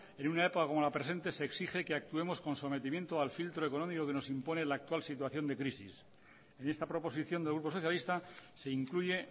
en una epa como la presente se exige que actuemos con sometimiento al filtro económico que nos impone la actual situación de crisis en esta proposición del grupo socialista se incluye